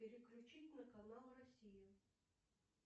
переключить на канал россия